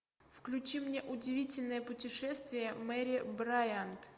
включи мне удивительное путешествие мэри брайант